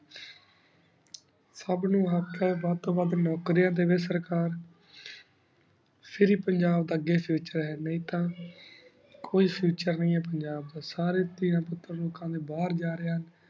ਸਬ ਨੂ ਵਾਦ੍ਤੁਨ ਵਾਦ ਨੁਕਰਾਂ ਦੇਵੀ ਸੇਕਰ ਫਿਰ ਹੀ ਪੰਜਾਬ ਦਾ future ਆਯ ਨੀ ਤਾਂ ਕੋਈ future ਨੀ ਆਯ ਪੰਜਾਬ ਦਾ ਸਾਰੀ ਤੀਯਾਂ ਪੁਟਰ ਲੋਕਾਂ ਡੀ ਬਹੇਰ ਜਾ ਰਹੀ ਹੁਣ